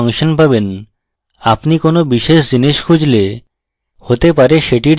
আপনি কোনো বিশেষ জিনিস খুঁজলে হতে পারে সেটির জন্য একটি ফাংশন উপলব্ধ